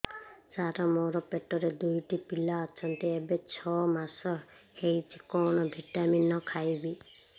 ସାର ମୋର ପେଟରେ ଦୁଇଟି ପିଲା ଅଛନ୍ତି ଏବେ ଛଅ ମାସ ହେଇଛି କଣ ଭିଟାମିନ ଖାଇବି